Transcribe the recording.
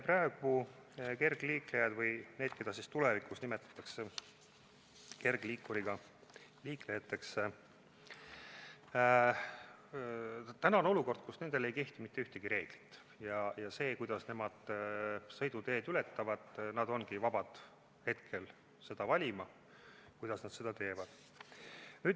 Praegu kergliiklejate või nende kohta, keda tulevikus nimetatakse kergliikuriga liiklejateks, ei kehti mitte ühtegi reeglit, ja kui nad sõiduteed ületavad, siis nad ongi vabad valima, kuidas nad seda teevad.